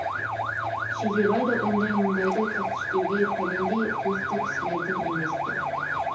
шегебай да ондай мұндайды тәптіштеуге пәлендей құлықты кісілерден емес ті